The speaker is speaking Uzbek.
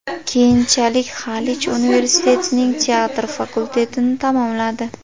Keyinchalik Xalich universitetining teatr fakultetini tamomladi.